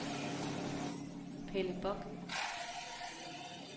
Pelle Bock